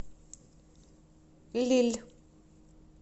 лилль